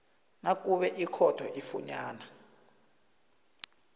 nakube ikhotho ifunyana